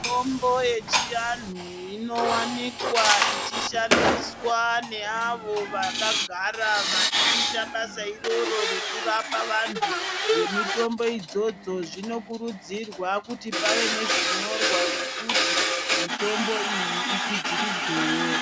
Mitombo yechiantu inowanikwa ichishandiswa neavo vakagara vachiita basa iroro rekurapa vanhu ngemitombo idzodzo zvinokuridzirwa kuti pave nezvinyorwa zvekuti mitombo iyi ikwidziridzwewo.